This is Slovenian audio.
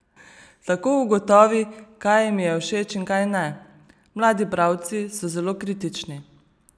Tako ugotovi, kaj jim je všeč in kaj ne: "Mladi bralci so zelo kritični.